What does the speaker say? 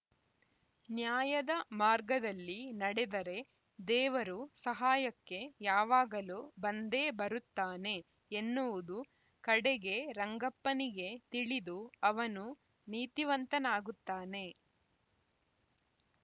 ನ್ಯಾಯದ ಮಾರ್ಗದಲ್ಲಿ ನಡೆದರೆ ದೇವರು ಸಹಾಯಕ್ಕೆ ಯಾವಾಗಲೂ ಬಂದೇ ಬರುತ್ತಾನೆ ಎನ್ನುವುದು ಕಡೆಗೆ ರಂಗಪ್ಪನಿಗೆ ತಿಳಿದು ಅವನು ನೀತಿವಂತನಾಗುತ್ತಾನೆ